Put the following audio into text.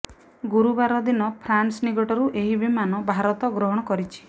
ଗୁରୁବାର ଦିନ ଫ୍ରାନ୍ସ ନିକଟରୁ ଏହି ବିମାନ ଭାରତ ଗ୍ରହଣ କରିଛି